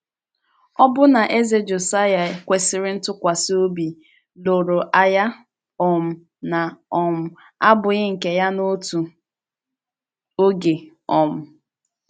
Ọbụna Eze Josaịa kwesịrị ntụkwasị obi, lụrụ agha um na - um abụghị nke ya n’otu oge um.